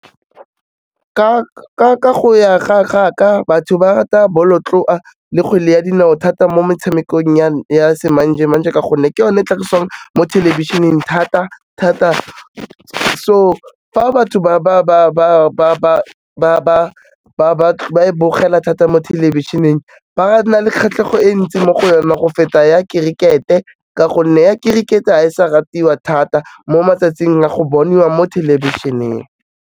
Ka go ya ga ka, batho ba rata bolotloa le kgwele ya dinao thata mo metshamekong ya semanje-manje ka gonne ke yone e tlhagisiwang mo thelebišeneng thata-thata so fa batho ba e bogela thata mo thelebišeneng, ba na le kgatlhego e ntsi mo go yona go feta ya kerikete, ka gonne ya kerikete ha e sa ratiwa thata mo matsatsing a go boniwa mo thelebišeneng.